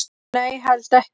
Nei, held ekki